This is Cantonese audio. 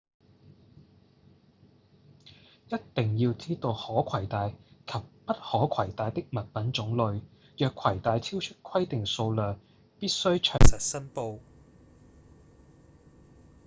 一定要知道可攜帶及不可攜帶的物品種類若攜帶超出規定數量必須詳實申報